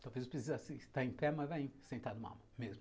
Talvez eu precise estar em pé, mas vai em, sentado mal, mesmo.